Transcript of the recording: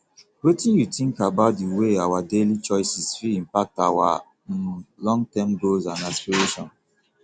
wetin you think about di way our daily choices fit impact our um longterm goals and aspirations